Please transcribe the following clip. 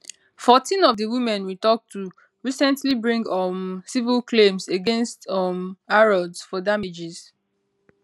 fourteen of di women we tok to recently bring um civil claims against um harrods for damages